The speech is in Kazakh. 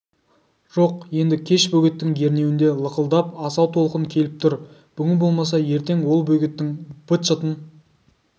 жоқ енді кеш бөгеттің ернеуінде лықылдап асау толқын келіп тұр бүгін болмаса ертең ол бөгеттің быт-шытын